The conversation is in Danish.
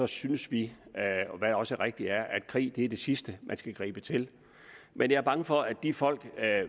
synes vi hvad også rigtigt er at krig er det sidste man skal gribe til men jeg er bange for at de folk